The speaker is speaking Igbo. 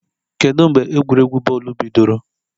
Kedu mgbe egwuregwu bọọlụ bidoro?